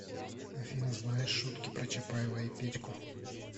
афина знаешь шутки про чапаева и петьку